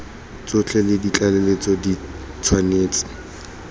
tsotlhe le ditlaleletso di tshwanetse